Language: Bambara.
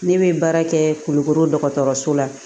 Ne bɛ baara kɛ kulukoro dɔgɔtɔrɔso la